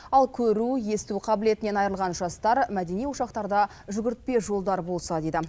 ал көру есту қабілетінен айырылған жастар мәдени ошақтарда жүгіртпе жолдар болса деді